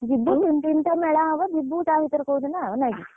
ଯିବୁ ତିନିତିନି ଟା ମେଳା ହବ ଯିବୁ ତାଭିତରେ କୋଉଦିନ ନାକି।